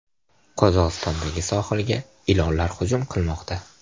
Qozog‘istondagi sohilga ilonlar hujum qilmoqda .